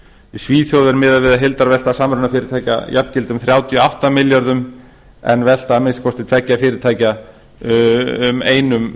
í svíþjóð er miðað við að heildarvelta samrunafyrirtækja jafngildi um þrjátíu og átta milljarða en velta að minnsta kosti tveggja fyrirtækja um einum